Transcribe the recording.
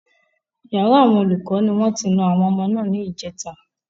Yàrá àwọn olùkọ́ ni wọ́n ti na àwọn ọmọ náà ní ìjèta